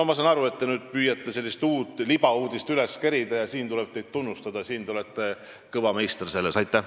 Ma saan aru, et te püüate nüüd mingit uut libauudist üles kerida ja siin tuleb teid tunnustada, te olete selles kõva meister.